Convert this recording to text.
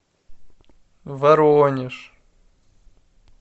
воронеж